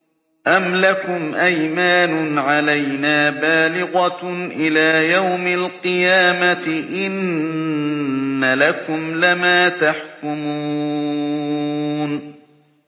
أَمْ لَكُمْ أَيْمَانٌ عَلَيْنَا بَالِغَةٌ إِلَىٰ يَوْمِ الْقِيَامَةِ ۙ إِنَّ لَكُمْ لَمَا تَحْكُمُونَ